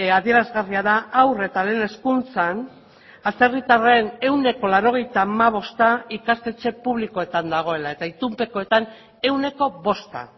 adierazgarria da haur eta lehen hezkuntzan atzerritarren ehuneko laurogeita hamabosta ikastetxe publikoetan dagoela eta itunpekoetan ehuneko bosta